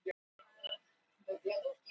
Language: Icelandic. Eins og dúkka af yfirstærð.